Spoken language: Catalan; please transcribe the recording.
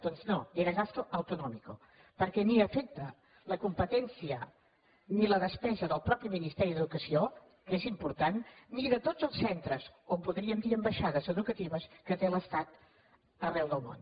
doncs no era gasto autonómico perquè ni afecta la competència ni la despesa del mateix ministeri d’educació que és important ni de tots els centres o en podríem dir ambaixades educatives que té l’estat arreu del món